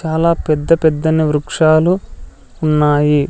చాలా పెద్ద పెద్దని వృక్షాలు ఉన్నాయి.